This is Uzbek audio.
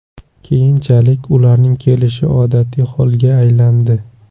Keyinchalik, ularning kelishi odatiy holga aylandi.